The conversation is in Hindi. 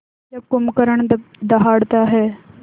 जब कुंभकर्ण दहाड़ता है